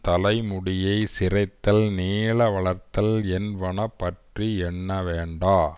தலைமுடியைச் சிரைத்தல் நீள வளர்த்தல் என்பன பற்றி எண்ண வேண்டா